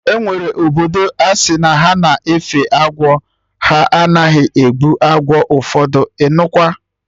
Enwere obodo asị na ha na-efe agwọ, ha anaghị egbu agwọ ụfọdụ, ịnụkwa!